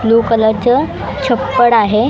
Blue कलरचं छप्पड आहे .